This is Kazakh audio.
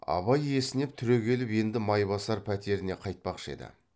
абай есінеп түрегеліп енді майбасар пәтеріне қайтпақшы еді